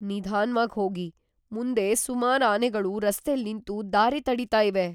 ನಿಧಾನ್ವಾಗ್‌ ಹೋಗಿ. ಮುಂದೆ ಸುಮಾರ್ ಆನೆಗಳು ರಸ್ತೆಲ್‌ ನಿಂತು ದಾರಿ ತಡೀತಾ ಇವೆ.